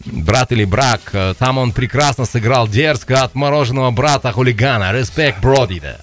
брат или брак ы там он прекрасно сыграл дерзко отмороженного брата хулигана респект бро дейді